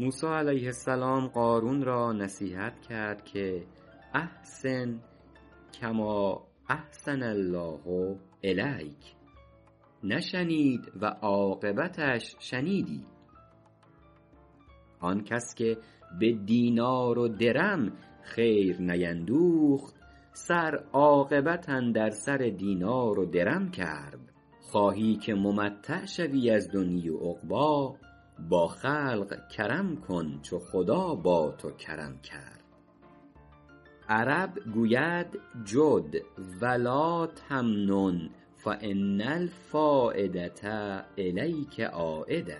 موسی علیه السلام قارون را نصیحت کرد که احسن کما احسن الله الیک نشنید و عاقبتش شنیدی آن کس که به دینار و درم خیر نیندوخت سر عاقبت اندر سر دینار و درم کرد خواهی که ممتع شوی از دنیا و عقبا با خلق کرم کن چو خدا با تو کرم کرد عرب گوید جد و لاتمنن فان الفایدة الیک عایدة